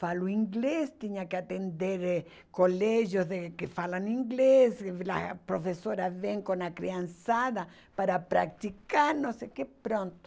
Falou inglês, tinha que atender colégios eh que falam inglês, a professora vem com a criançada para praticar, não sei o que, pronto.